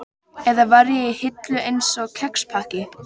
Eða var ég í hillu, einsog kexpakki?